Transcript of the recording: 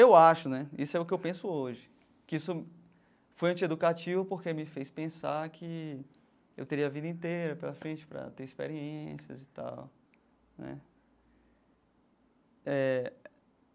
Eu acho né, isso é o que eu penso hoje, que isso foi anti-educativo porque me fez pensar que eu teria a vida inteira pela frente para ter experiências e tal né eh.